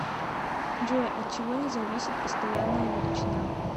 джой от чего не зависит постоянная величина